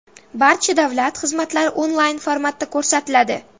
Barcha davlat xizmatlari onlayn-formatda ko‘rsatiladi.